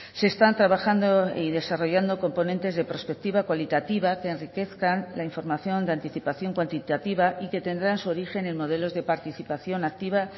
se están trabajando y desarrollando componentes de prospectiva cualitativa que enriquezcan la información de anticipación cuantitativa y que tendrán su origen en modelos de participación activa